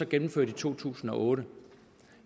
gennemført i to tusind og otte